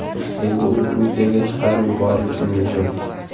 Endi u Gruziyaga chiqarib yuborilishi mumkin.